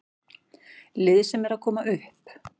Lið sem er að koma upp.